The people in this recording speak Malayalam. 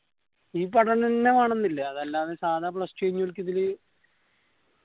ഈ പഠാനെന്നെ വേണംന്ന് ഇല്ലാ അതെല്ലാതെ സാധാ plus two കയിഞ്ഞോൽക്ക് ഇതില്